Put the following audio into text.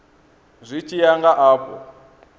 zwi tshi ya nga afho